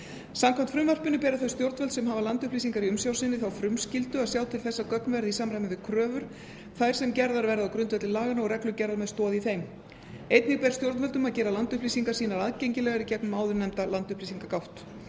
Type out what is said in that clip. samkvæmt frumvarpinu bera þau stjórnvöld sem hafa landupplýsingar í umsjá sinni þá frumskyldu að sjá til þess að gögn verði í samræmi við kröfur þær sem gerðar verða á grundvelli laganna og reglugerðar með stoð í þeim einnig ber stjórnvöldum að gera landupplýsingar sínar aðgengilegar í gegnum áðurnefnda landupplýsingagátt